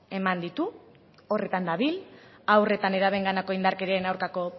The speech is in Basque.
eman ditu horretan dabil haur eta nerabeenganako indarkerian aurkako